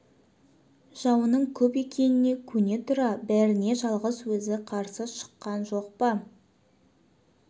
жауының көп екеніне көне тұра бәріне жалғыз өзі қарсы шыққан жоқ па